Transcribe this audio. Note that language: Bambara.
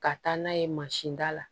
Ka taa n'a ye mansinda la